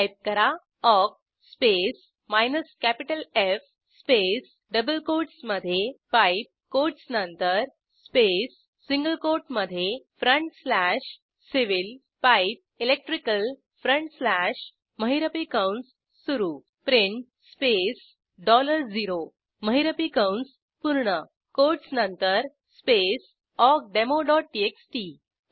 type करा awk space minus capital F space double कोटसमधे pipe quotes नंतर space single कोटमधे front slash civil pipe electrical front slash महिरपी कंस सुरू print स्पेस dollar0 महिरपी कंस पूर्ण कोटस नंतर स्पेस awkdemoटीएक्सटी